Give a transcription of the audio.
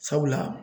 Sabula